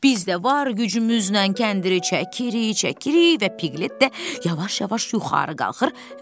Biz də var gücümüzlə kəndiri çəkirik, çəkirik və Piqlet də yavaş-yavaş yuxarı qalxır.